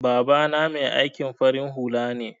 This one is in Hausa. Baba na Mai aikin farin hula ne.